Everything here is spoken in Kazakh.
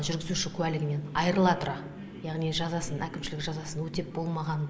жүргізуші куәлігінен айырыла тұра яғни жазасын әкімшілік жазасын өтеп болмаған